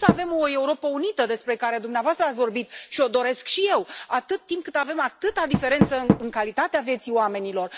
Cum să avem o Europă unită, despre care dumneavoastră ați vorbit și o doresc și eu, atât timp cât avem atâta diferență în calitatea vieții oamenilor?